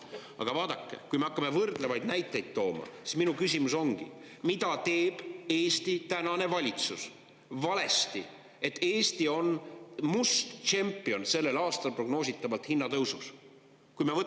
Aga vaadake, kui me hakkame võrdlevaid näiteid tooma, siis mu küsimus ongi: mida teeb Eesti tänane valitsus valesti, et Eesti on sellel aastal prognoositavalt hinnatõusu must tšempion?